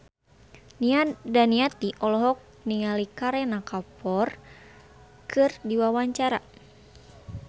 Nia Daniati olohok ningali Kareena Kapoor keur diwawancara